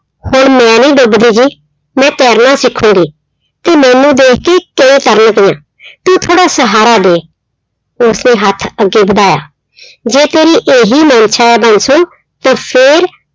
ਹੁਣ ਮੈਂ ਨਹੀਂ ਡੁੱਬ ਰਹੀ, ਮੈਂ ਤੈਰਨਾ ਸਿੱਖਾਂਗੀ, ਤੇ ਮੇਨੂੰ ਦੇਖ ਕਿ ਕਿਵੇਂ ਤਰਨਦੀ ਹਾਂ ਤੂੰ ਥੋੜ੍ਹਾ ਸਹਾਰਾ ਦੇ, ਉਸਨੇ ਹੱਥ ਅੱਗੇ ਵਧਾਇਆ ਜੇ ਤੇਰੀ ਇਹੀ ਮਨਸ਼ਾ ਹੈ ਬਾਂਸੋ ਤਾਂ ਫਿਰ